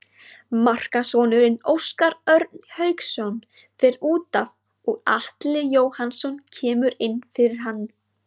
Markaskorarinn Óskar Örn Hauksson fer útaf og Atli Jóhannsson kemur inn fyrir hann.